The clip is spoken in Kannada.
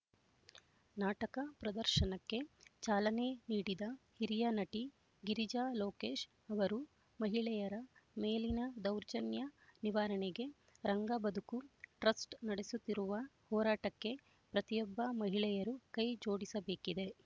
ನಾಟಕ ಪ್ರದರ್ಶನಕ್ಕೆ ಚಾಲನೆ ನೀಡಿದ ಹಿರಿಯ ನಟಿ ಗಿರಿಜಾ ಲೋಕೇಶ್ ಅವರು ಮಹಿಳೆಯರ ಮೇಲಿನ ದೌರ್ಜನ್ಯ ನಿವಾರಣೆಗೆ ರಂಗ ಬದುಕು ಟ್ರಸ್ಟ್ ನಡೆಸುತ್ತಿರುವ ಹೋರಾಟಕ್ಕೆ ಪ್ರತಿಯೊಬ್ಬ ಮಹಿಳೆಯರು ಕೈ ಜೋಡಿಸಬೇಕಿದೆ